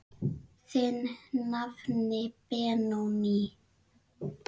Þinn nafni Benóný.